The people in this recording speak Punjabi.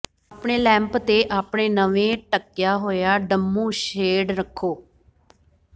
ਆਪਣੇ ਲੈਂਪ ਤੇ ਆਪਣੇ ਨਵੇਂ ਢੱਕਿਆ ਹੋਇਆ ਡੰਮੂ ਸ਼ੇਡ ਰੱਖੋ